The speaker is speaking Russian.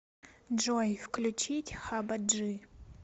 джой включить хаба джи